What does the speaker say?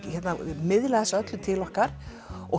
miðla þessu öllu til okkar og